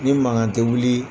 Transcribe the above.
Ni mankan tɛ wuli